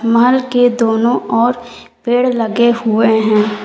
महल के दोनों ओर पेड़ लगे हुए हैं।